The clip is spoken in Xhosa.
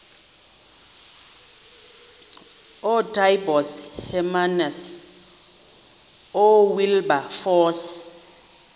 ootaaibos hermanus oowilberforce